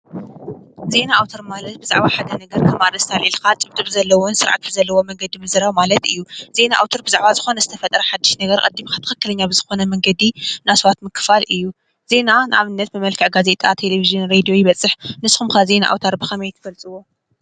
ዜና ኣውትር ማለት ሓዱሽ ዘይተሰመዐ ሓበሬታ ኾይኑ ብመልክዕ ጋዜጣ፣ መፂሔት፣ ድምፅን ምስልን ናብ ሰማዒ እዝኒ ይበፅሕ።